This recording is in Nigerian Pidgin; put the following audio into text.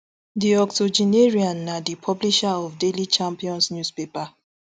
di octogenarian na di publisher of daily champion newspaper